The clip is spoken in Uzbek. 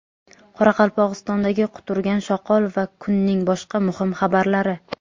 Qoraqalpog‘istondagi quturgan shoqol va kunning boshqa muhim xabarlari.